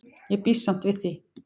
Ég býst samt við því.